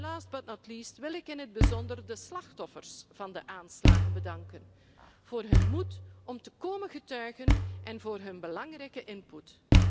Last but not least wil ik in het bijzonder de slachtoffers van de aanslagen bedanken voor hun moed om te komen getuigen en voor hun belangrijke input.